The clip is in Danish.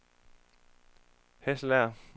Hasselager